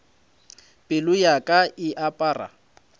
pelo ya ka e apara